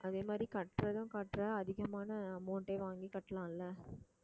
அதே மாதிரி கட்டுறதும் கட்டுற அதிகமான amount ஏ வாங்கி கட்டலாம் இல்ல